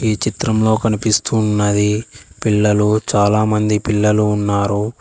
ఈ చిత్రంలో కనిపిస్తూ ఉన్నది పిల్లలు చాలామంది పిల్లలు ఉన్నారు.